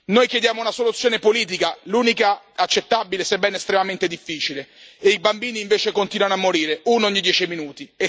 Noi chiediamo una soluzione politica, l'unica accettabile sebbene estremamente difficile, e i bambini invece continuano a morire, uno ogni dieci minuti.